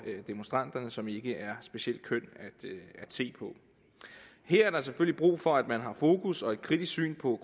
demonstranterne som ikke er specielt køn at se på her er der selvfølgelig brug for at man har fokus og et kritisk syn på